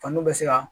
Faniw bɛ se ka